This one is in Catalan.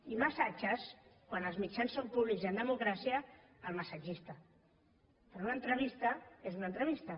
i els massatges quan els mitjans són públics i en democràcia al massatgista però una entrevista és una entrevista